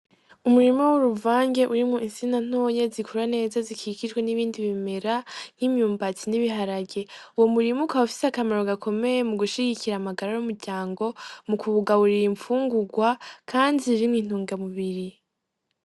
Umurimo w'uruvange uri mwu insina ntonye zikura neza zikikijwe n'ibindi bimera nk'imyumbatsi n'ibiharage uwo murimuka wafise akamaro gakomeye mu gushigikira amagara r'umuryango mu kuwugaburira impfungurwa, kandi zirimwe intunga mubiri.